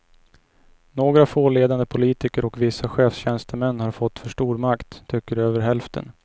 Några få ledande politiker och vissa chefstjänstemän har fått för stor makt, tycker över hälften.